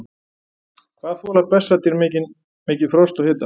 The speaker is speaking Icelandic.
Hvað þola bessadýr mikið frost og hita?